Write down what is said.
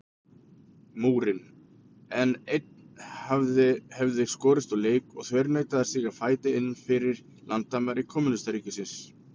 Múrinn, en einn hefði skorist úr leik og þverneitað að stíga fæti innfyrir landamæri kommúnistaríkis.